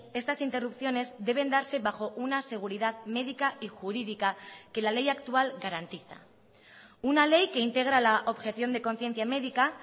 estas interrupciones deben darse bajo una seguridad médica y jurídica que la ley actual garantiza una ley que integra la objeción de conciencia médica